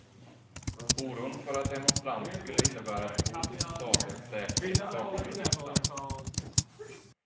Oron för att demonstranter skulle innebära ett hot mot statens säkerhet saknade substans.